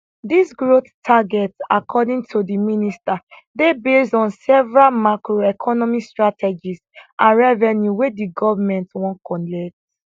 dis growth target according to di minister dey based on several macroeconomic strategies and revenue wey di goment wan collect